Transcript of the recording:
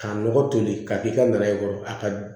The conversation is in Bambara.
K'a lɔgɔ toli ka k'i ka na ye a ka